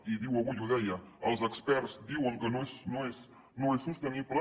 i diu avui ho deia els experts diuen que no és sostenible